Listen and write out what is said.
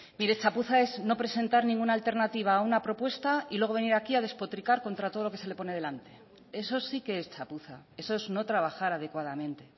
mire chapuza es no presentar ninguna alternativa a una propuesta y luego venir aquí a despotricar contra todo lo que se pone delante eso sí que es chapuza eso es no trabajar adecuadamente